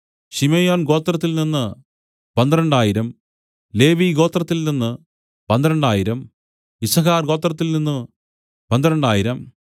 ശിമെയോൻ ഗോത്രത്തിൽനിന്നു പന്ത്രണ്ടായിരം ലേവിഗോത്രത്തിൽ നിന്നു പന്ത്രണ്ടായിരം യിസ്സാഖാർ ഗോത്രത്തിൽനിന്നു പന്ത്രണ്ടായിരം